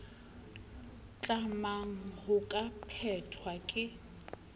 tlamang ho ka phethwa ke